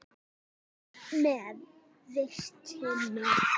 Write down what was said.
Með vitinu.